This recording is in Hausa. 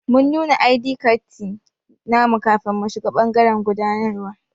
Mun nuna i.d katti namu kafin mu shiga bangaren gudanarwa.